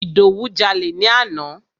Ìdòwú jalè ni àná.